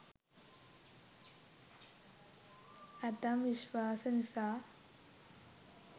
ඇතැම් විශ්වාස නිසා